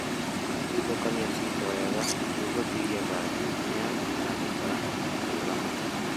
Tigithũkania ciito wega nĩguo gũtigia bathi nene ya mũmera gũkũra na kũũramata